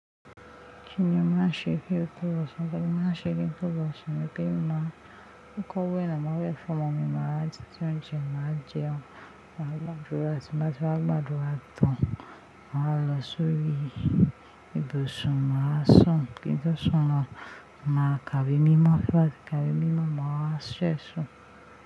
Kíni màá ṣe kí ó tó lọ̀sán? Bẹ́ẹ̀ni, màá ṣe kí n tó lọ̀sán ni pé màá kọ́wé náà, màá wẹ́ fún ọmọ mi, màá rántí tí ó ń jẹ, màá jẹun, màá gbàdúrà, tí bá ti bá gbàdúrà tán, màá lọ sórí ibùsùn, màá sùn. Kí n tó sùn lọ, màá kàwé mímọ́ ba. Kàwé mímọ́, màá ṣẹ́ sùn.